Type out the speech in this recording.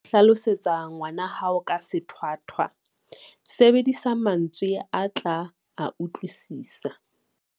Ha o hlalosetsa ngwana hao ka sethwathwa, sebedisa mantswe a tla a utlwisisa.